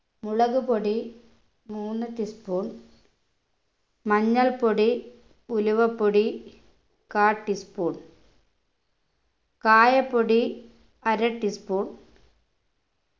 മുളകുപൊടി മൂന്ന് tea spoon മഞ്ഞൾപൊടി ഉലുവപ്പൊടി കാൽ tea spoon കായപ്പൊടി അര tea spoon